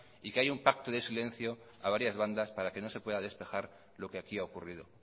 y que hay un pacto de silencio a varias bandas para que no se pueda despejar lo que aquí ha ocurrido